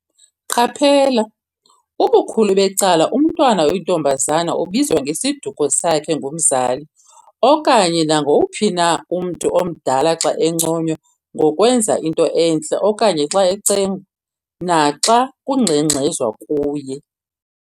Qaphela!! ubukhulu becala, umntwana oyintombazana ubizwa ngesiduko sakhe ngumzali okanye nanguwuphi na umntu omdala xa enconywa ngokwenza into entle okanye xa ecengwa, naxa kungxengxezwa kuye.